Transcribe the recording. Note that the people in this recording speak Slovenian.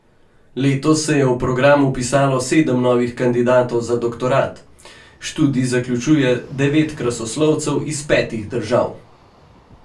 Letos se je v program vpisalo sedem novih kandidatov za doktorat, študij zaključuje devet krasoslovcev iz petih držav.